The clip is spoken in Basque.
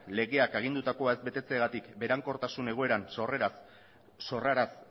legeak agindutakoa ez betetzeagatik berankortasun egoeran sorraraz